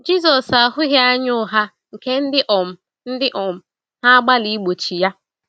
Jisọs ahụghị anya ụgha nke ndị um ndị um na-agbalị igbochi ya.